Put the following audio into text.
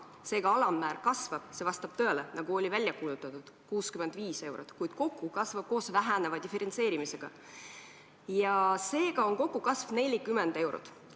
Seega, alammäär kasvab, see vastab tõele, nagu oli välja kuulutatud, 65 eurot, kuid koos väheneva diferentseerimisega on kogukasv 40 eurot.